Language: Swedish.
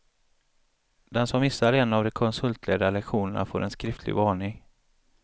Den som missar en av de konsultledda lektionerna får en skriftlig varning.